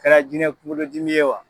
Kɛra jinɛ kuŋolo dimi ye wa